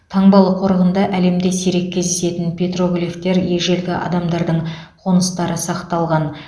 таңбалы қорығында әлемде сирек кездесетін петроглифтер ежелгі адамдардың қоныстары сақталған